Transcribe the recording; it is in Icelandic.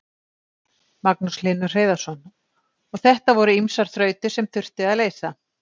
Magnús Hlynur Hreiðarsson: Og þetta voru ýmsar þrautir sem þurfti að leysa?